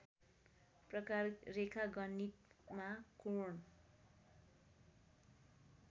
प्रकार रेखागणितमा कोण